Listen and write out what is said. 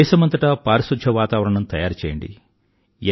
దేశమంతటా పారిశుధ్య వాతావరణం తయారుచెయ్యండి